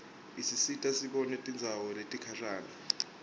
isisita sibone tindzawo letikhashane